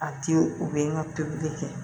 A te u be n ka tobili kɛ